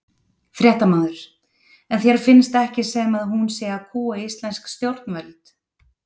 Fréttamaður: En þér finnst ekki sem að hún sé að kúga íslensk stjórnvöld?